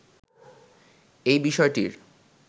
এই বিষয়টির